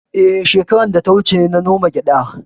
Eh, shekara da ta wuce na noma gyada